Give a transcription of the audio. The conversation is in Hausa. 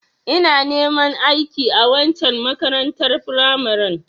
Ina neman aiki a waccen makarantar firamaren